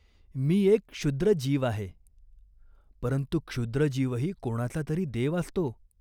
मी एक क्षुद्र जीव आहे." "परंतु क्षुद्र जीवही कोणाचा तरी देव असतो."